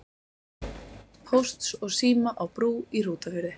Pósts og síma á Brú í Hrútafirði.